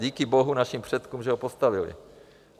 Díky bohu, našim předkům, že ho postavili.